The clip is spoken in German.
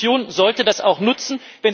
Die Kommission sollte das auch nutzen.